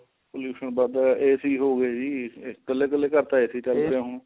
pollution ਵੱਧ AC ਹੋ ਗਏ ਜੀ ਕੱਲੇ ਕੱਲੇ ਘਰ ਤਾਂ AC ਚੱਲਦਾ ਹੁਣ